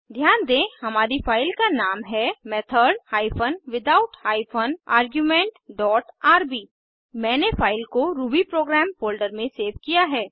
ध्यान दें हमारी फाइल का नाम है method hyphen without hyphen argument dot RB मैंने फाइल को रूबी प्रोग्राम फोल्डर में सेव किया है